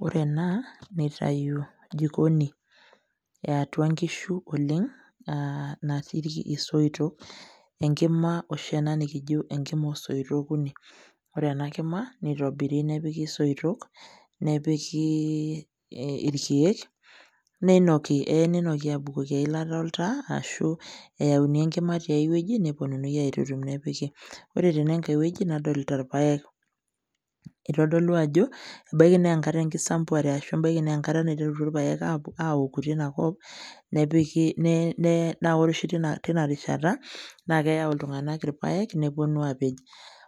Wore ena nitayu jikoni eatua inkishu oleng'. Natii isoitok enkima oshi ena nikijo enkima oosoitok okuni. Wore ena kima, nitobiri nepiki isoitok, nepiki irkiek, neinoki eya ninoki aabukoki eilata oltaa ashu eyauni enkima teiwueji, neponunui aitutum nepiki. Wore tenankae wueji nadolita irpaek, itodolu ajo, ebaiki naa enkisambuare arashu ebaiki naa enkata naiteritua irpaek aaoku tenia kop. Nepiki naa wore oshi teniarishata, naa keyau iltunganak irpaek, neponu aapej.